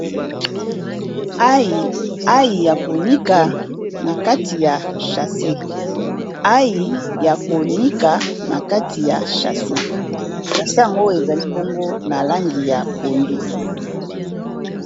Ail ya konika na kati ya sachet ail ya konika na kati ya sachet sachet yango ezali bongo na langi ya pondu